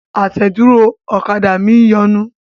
Àtẹ̀dúró ọ̀kadà mi ń yọnu.